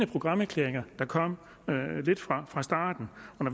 programerklæringer der kom fra starten